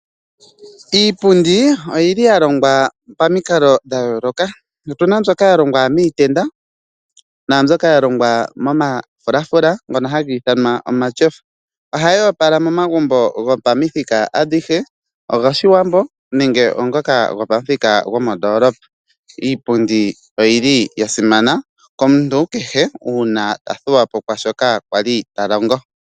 Iipundi, oyili yalongwa pamikalo dhayooloka. Otuna mbyoka yalongwa miitenda, naambyoka yalongwa momafulafula ngono hagiithanwa omatshofa. Ohayoopala momagumbo gopamithika adhihe, ogoshiwambo nenge oongoka gopamuthika gomondoolopa. Iipundi oyili yasimana komuntu kehe uuna athuwapo kwaashoka kwali talongo.